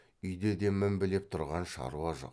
үйде де мінбелеп тұрған шаруа жоқ